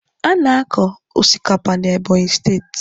A na-akọ osikapa na Ebonyi steeti.